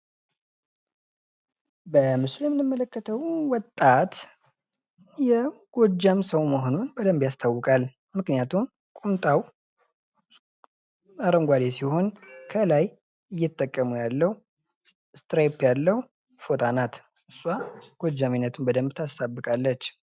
ከምስሉ የምንመለከተው ወጣት የጎጃም ሰው መሆኑ ያስታውቃል። ምክንያቱም ቁምጣው አረንጓዴ ሲሆን ከላይ እየተጠቀመው ያለው ስትራይፕ ያለው ፎጣ ናት። እሷ ጎጃሜነቱን በደንብ ታሳብቃለች።